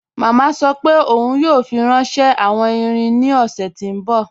Mama sọ́ pé óun yóò fi ránṣẹ̀ awọn ìrìn ní ọṣẹ̀ tó nbọ̀.